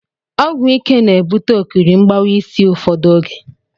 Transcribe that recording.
Ogwụ ike na-ebụte ọkiri mgbawa isi ụfọdụ ọge